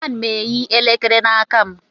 Ana m eyi elekere n'aka m.